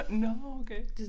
Nåh okay